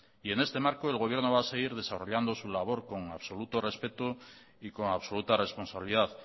en este marco el gobierno va a seguir desarrollando su labor como absoluto respeto y con absoluta responsabilidad